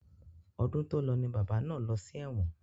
Ọdún tòlọ ni bàbá náà lọ sí ẹ̀wọ̀n.